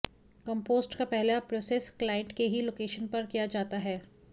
compost का पहला process client के ही लोकेशन पर किया जाता है